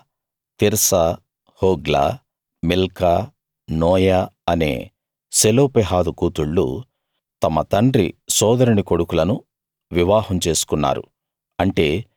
Mahlah Tirzah Hoglah Milcah Noah అనే Zelophehad కూతుళ్ళు తమ తండ్రి సోదరుని కొడుకులను వివాహం చేసుకున్నారు